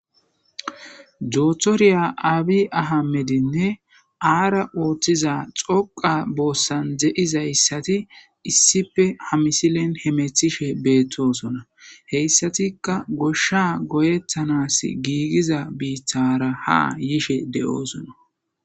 Joothoriya aabi ahamedinne aara ooththiza xoqa boossan de7izayssati issife hamisilen hemethishe beettosona heyssatikka goshsha goyettanas giigiza biithara ha yishe de7oosona